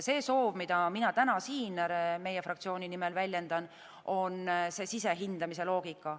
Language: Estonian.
See soov, mida mina täna siin meie fraktsiooni nimel väljendan, on sisehindamise loogika.